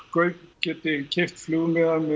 geti keypt flugmiða með